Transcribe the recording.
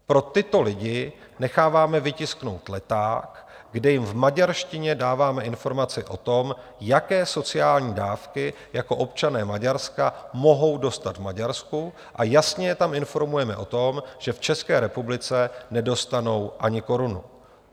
Pro tyto lidi necháváme vytisknout leták, kde jim v maďarštině dáváme informace o tom, jaké sociální dávky jako občané Maďarska mohou dostat v Maďarsku, a jasně je tam informujeme o tom, že v České republice nedostanou ani korunu.